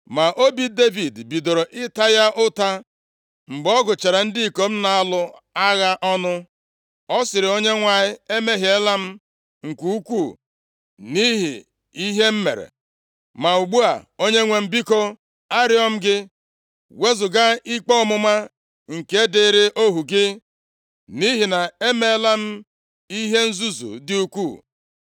Ma obi Devid bidoro ịta ya ụta mgbe ọ gụchara ndị ikom na-alụ agha ọnụ. Ọ sịrị Onyenwe anyị, “Emehiela m nke ukwuu nʼihi ihe m mere. Ma ugbu a, Onyenwe anyị biko, arịọ m gị, wezuga ikpe ọmụma nke dịịrị ohu gị; nʼihi na emeela m ihe nzuzu dị ukwuu.”